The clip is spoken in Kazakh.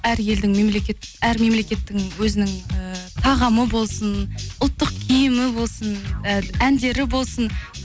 әр елдің мемлекет әр мемлекеттің өзінің ііі тағамы болсын ұлттық киімі болсын і әндері болсын